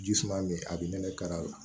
Ji suma bɛ yen a bɛ nɛnɛ kari a la